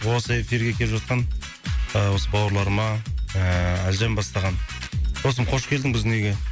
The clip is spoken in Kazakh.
осы эфирге келіп жатқан ыыы осы бауырларыма ыыы әлжан бастаған досым қош келдің біздің үйге